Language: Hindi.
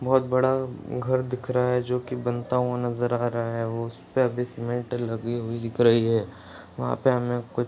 बहुत बड़ा घर दिख रहा है जो कि बनता हुआ नजर आ रहा है उस पे अभी सीमेंट लगी हुई दिख रही है वहां पे हमे कुछ --